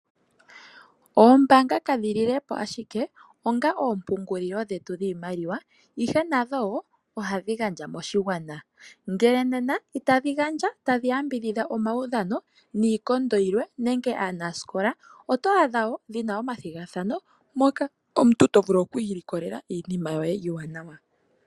Oombanga kadhi lile po ashike onga oompungulilo dhetu dhiimaliwa, ihe nadho wo ohadhi gandja moshigwana, ngele nena itadhi gandja tadhi yambidhidha omaudhano niikondo yilwe nenge aanasikola, oto adha wo dhi na omathigathano moka omuntu to vulu oku ilikolela iinima yoye iiwanawa.